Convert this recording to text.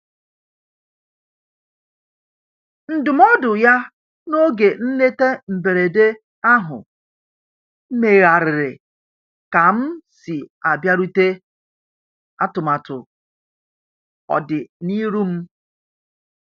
Ndụmọdụ ya n'oge nleta mberede ahụ megharịrị ka m si abịarute atụmatụ ọdi n'iru m.